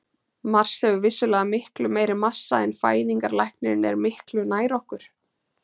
Mars hefur vissulega miklu meiri massa en fæðingarlæknirinn er miklu nær okkur.